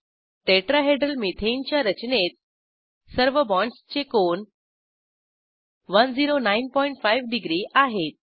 tetrahedral methane च्या रचनेत सर्व बाँडसचे कोन 1095 डिग्री आहेत